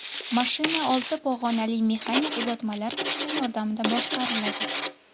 Mashina olti pog‘onali mexanik uzatmalar qutisi yordamida boshqariladi.